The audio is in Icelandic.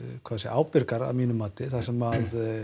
ábyrgar að mínu mati þar sem